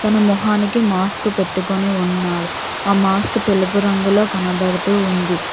తన మొహానికి మాస్క్ పెట్టుకుని ఉన్నాడు ఆ మాస్క్ తెలుపు రంగులో కనబడుతూ ఉంది.